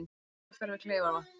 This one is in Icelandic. Jarðskjálftar við Kleifarvatn